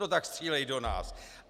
No tak střílejí do nás.